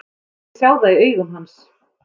Mér fannst ég sjá það í augum hans.